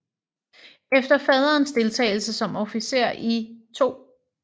Efter faderens deltagelse som officer i 2